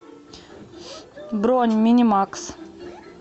бронь минимакс